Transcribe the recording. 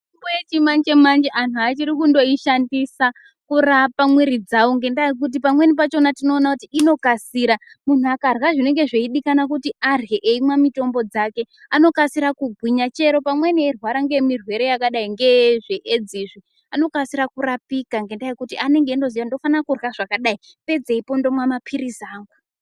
Mitombo yechimanje manje antu achiri kundoishandisa kurapa mwiri dzawo ngendaya yekuti pamweni pachona tinoona kuti inokasira. Muntu akarya zvinenge zveidikana kuti arye eimwe mitombo dzake, anokasira kugwinya. Chero pamweni eirwara ngemirwere yakadai ngezveEdzi izvi anokasira kurapika ngendaa yekuti anenge itozoya kuti ndofana kurya zvakadai, pedzeipo ndomwa maphirizi angu.